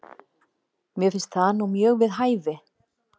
Mér finnst það nú mjög við hæfi?